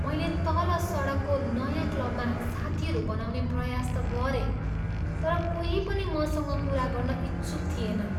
मैले तल सडकको नयाँ क्लबमा साथीहरू बनाउने प्रयास त गरेँ, तर कोही पनि मसँग कुरा गर्न इच्छुक थिएनन्।